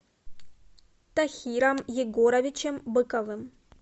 тахиром егоровичем быковым